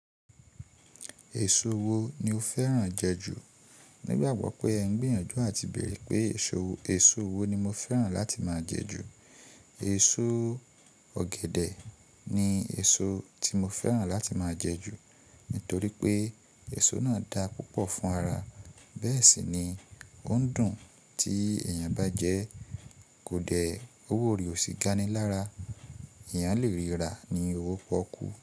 Èso wo ni o fẹ́ràn jẹ ju? Nígbàgbọ́ pé ẹ n gbìyànjú àti bèèrè pé èso wo ni mo fẹ́ràn láti máa jẹ ju. Èso ọ̀gẹ̀dẹ̀ ni èso tí mo fẹ́ràn láti máa jẹ ju, nítorí pé èso náà da púpọ̀ fún ara. Bẹ́ẹ̀ sì ni ó ń dùn tí èèyàn bá jẹ, kò dẹ̀, owó ori ò sì gani lára. Èèyàn lè ríra ní owó pọ́kú.